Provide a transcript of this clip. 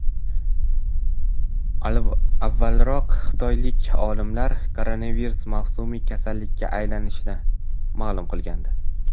Avvalroq Xitoylik olimlar koronavirus mavsumiy kasallikka aylanishini ma’lum qilgandi .